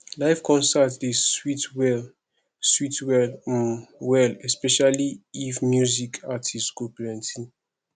live concert dey sweet well sweet well um well especially if music artist go plenty